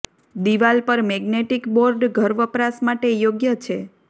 દિવાલ પર magnetic board ઘર વપરાશ માટે યોગ્ય છે